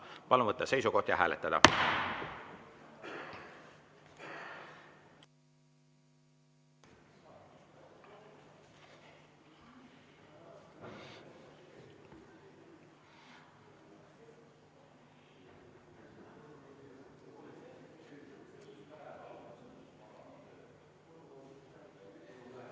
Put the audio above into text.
Palun võtta seisukoht ja hääletada!